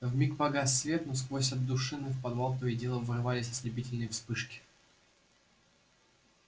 вмиг погас свет но сквозь отдушины в подвал то и дело врывались ослепительные вспышки